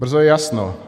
Brzo je jasno.